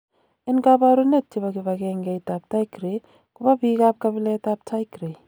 En koborunet chebo kibangengeit ab Tigray kobo biik ab kabilet ab Tigray.